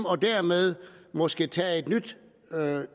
og dermed måske tage et nyt